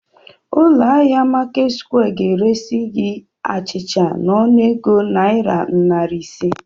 Ụlọ ahịa Marketsquare ga-eresi gị achịcha n'ọnụego naira narị ise.